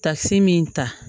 Takisi min ta